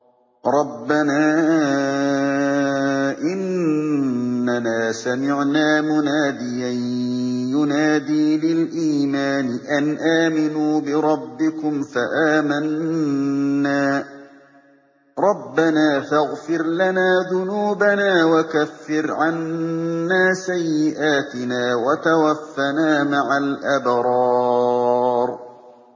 رَّبَّنَا إِنَّنَا سَمِعْنَا مُنَادِيًا يُنَادِي لِلْإِيمَانِ أَنْ آمِنُوا بِرَبِّكُمْ فَآمَنَّا ۚ رَبَّنَا فَاغْفِرْ لَنَا ذُنُوبَنَا وَكَفِّرْ عَنَّا سَيِّئَاتِنَا وَتَوَفَّنَا مَعَ الْأَبْرَارِ